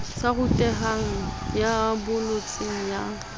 sa rutehang ya bolotseng ya